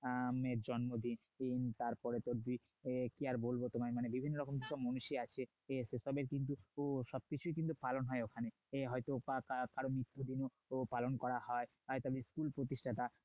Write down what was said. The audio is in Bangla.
এর জন্মদিন তারপরে কি আর বলবো তোমায় মানে বিভিন্ন মানে বিভিন্ন রকম মনীষী আছে তবে কিন্তু সব কিছুই কিন্তু পালন হয় ওখানে এ হয়ত মৃত্যু পালন করা হয় হয়তোবা স্কুল প্রতিষ্ঠাতা